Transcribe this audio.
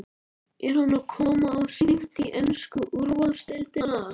Er hann að koma of seint í ensku úrvalsdeildina?